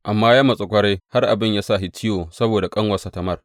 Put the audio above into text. Amnon ya matsu ƙwarai har abin ya sa shi ciwo saboda ƙanuwarsa Tamar.